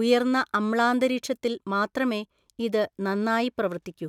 ഉയർന്ന അമ്ലാന്തരീക്ഷത്തിൽ മാത്രമേ ഇത് നന്നായി പ്രവർത്തിക്കൂ.